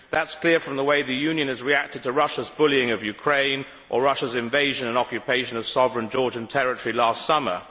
This is clear from the way the Union has reacted to Russia's bullying of Ukraine or Russia's invasion and occupation of sovereign Georgian territory last summer.